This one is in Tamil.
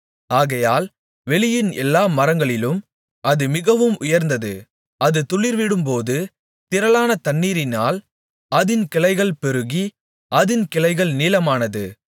ஆகையால் வெளியின் எல்லா மரங்களிலும் அது மிகவும் உயர்ந்தது அது துளிர்விடும்போது திரளான தண்ணீரினால் அதின் கிளைகள் பெருகி அதின் கிளைகள் நீளமானது